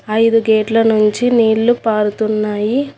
ఐదు గేట్ల నుంచి నీళ్లు పారుతున్నాయి.